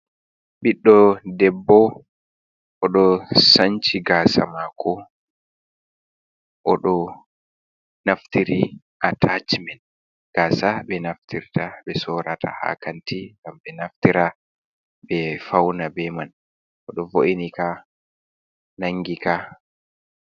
Ɗo debbo odo sanci gasa mako, odo naftiri atacimen. Gasa be naftirta be sorata ha kanti ngam be naftira be fauna be man. Odo vo’ni ka nangika.